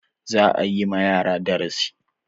Za a yi ma yara darasi.